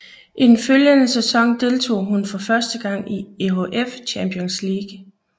I den følgende sæson deltog hun for første gang i EHF Champions League